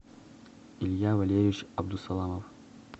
илья валерьевич абдусаламов